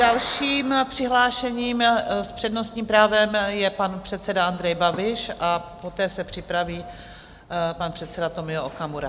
Dalším přihlášeným s přednostním právem je pan předseda Andrej Babiš a poté se připraví pan předseda Tomio Okamura.